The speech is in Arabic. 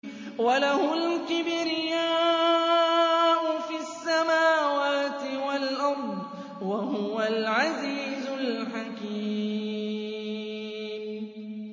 وَلَهُ الْكِبْرِيَاءُ فِي السَّمَاوَاتِ وَالْأَرْضِ ۖ وَهُوَ الْعَزِيزُ الْحَكِيمُ